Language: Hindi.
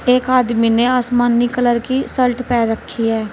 एक आदमी ने आसमानी कलर की शर्ट पहन रखी है।